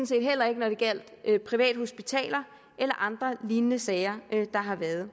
set heller ikke da det gjaldt privathospitaler eller andre lignende sager der har været